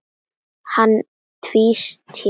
Hann tvísté.